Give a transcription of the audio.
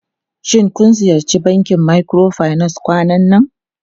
Shin kun ziyarci bankin microfinance kwanan nan?